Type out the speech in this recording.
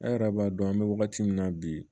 An yɛrɛ b'a dɔn an bɛ wagati min na bi